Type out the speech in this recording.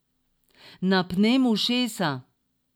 Napnem ušesa.